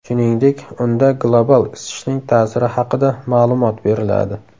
Shuningdek, unda global isishning ta’siri haqida ma’lumot beriladi.